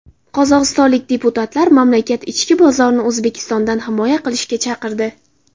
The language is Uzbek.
Qozog‘istonlik deputatlar mamlakat ichki bozorini O‘zbekistondan himoya qilishga chaqirdi.